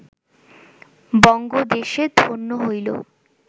বঙ্গদেশে ধন্য হইল